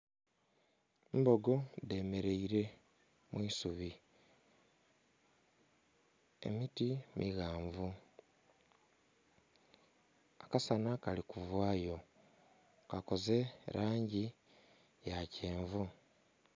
Embogo dhemeraire mwiisubi emiti mighanvu, akasana kalikuvayo kakoze erangi yakyenvu.